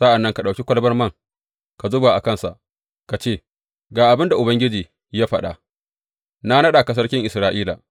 Sa’an nan ka ɗauki kwalabar man ka zuba a kansa, ka ce, Ga abin da Ubangiji ya faɗa, na naɗa ka sarkin Isra’ila.’